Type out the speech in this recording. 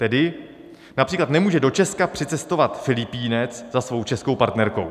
Tedy například nemůže do Česka přicestovat Filipínec za svou českou partnerkou.